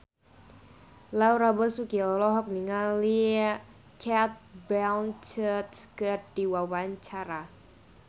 Laura Basuki olohok ningali Cate Blanchett keur diwawancara